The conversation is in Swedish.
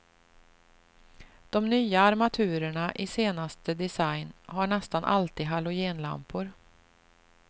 De nya armaturerna i senaste design, har nästan alltid halogenlampor.